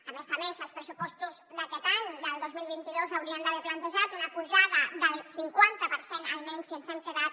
a més a més els pressupostos d’aquest any del dos mil vint dos haurien d’haver plantejat una pujada del cinquanta per cent almenys i ens hem quedat